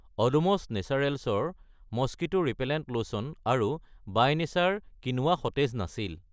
অডোমছ নেচাৰেলছৰ mosquito repellent lotion আৰু by nature কিনোৱা সতেজ নাছিল।